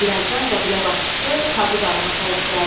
Birazdan qəbilə başçısı Tabu dağına tərəf gəldi.